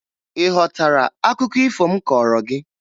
Ị ghọtara akụkọ ifo m kọọrọ gị?